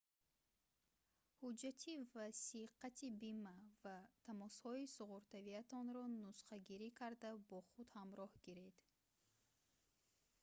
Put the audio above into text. ҳуҷатти васиқати бима ва тамосҳои суғуртавиатонро нусхагирӣ карда бо худ ҳамроҳ гиред